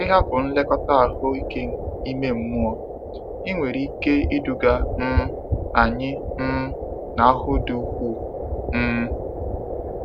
Ịhapụ nlekọta ahụike ime mmụọ nwere ike iduga um anyị um n'ahụhụ dị ukwuu. um